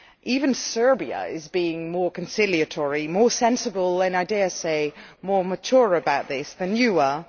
Even Serbia is being more conciliatory, more sensible and, I dare say, more mature about this than you are.